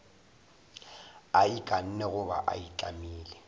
a ikanne goba a itlamile